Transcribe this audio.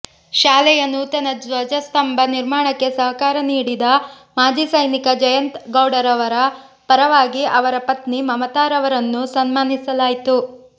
ಶಾಲೆಯ ನೂತನ ಧ್ವಜಸ್ತಂಭ ನಿರ್ಮಾಣಕ್ಕೆ ಸಹಕಾರ ನೀಡಿದ ಮಾಜಿ ಸೈನಿಕ ಜಯಂತ ಗೌಡರವರ ಪರವಾಗಿ ಅವರ ಪತ್ನಿ ಮಮತಾರವರನ್ನು ಸನ್ಮಾನಿಸಲಾಯಿತು